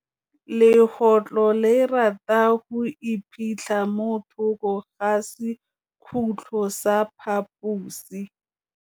Legôtlô le rata go iphitlha mo thokô ga sekhutlo sa phaposi.